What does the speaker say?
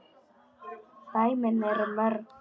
dæmin eru mörg.